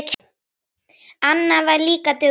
Anna var líka dugleg.